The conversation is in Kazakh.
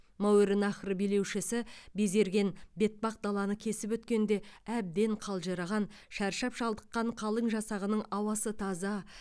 мәуереннаһр билеушісі безерген бетпақдаланы кесіп өткенде әбден қалжыраған шаршап шалдыққан қалың жасағының ауасы таза